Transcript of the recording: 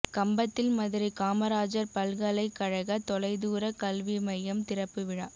கம்பத்தில் மதுரை காமராஜர் பல்கலைக் கழக தொலை தூர கல்வி மையம் திறப்பு விழா